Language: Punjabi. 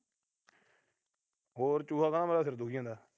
ਹੋਰ ਚੂਹਾ ਕਹਿੰਦਾ ਮੇਰਾ ਸਿਰ ਦੁਖੀ ਜਾਂਦਾ।